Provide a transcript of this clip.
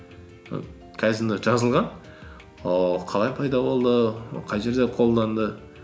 і кайдзен де жазылған ол қалай пайда болды қай жерде қолданды